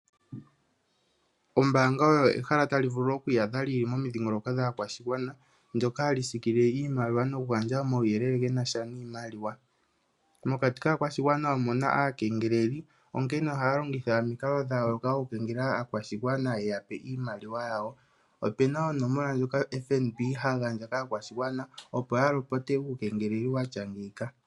Ombaanga oyo ehala tali vulu okwiiyadha lili momidhiingoloko dhaakwashigwana ndyoka hali siikilile iimaliwa nokugandja omauyelele gena sha niimaliwa. Mokati kaakwashigwana omuna aakengeleli onkene ohaa longitha omikalo dhayooloka okukengelela aakwashigwana yeya pe iimaliwa yawo opena oonomola dhoka FNB hagandja kaakwashigwana opo ya lopote uukengeleli watya ngeyika.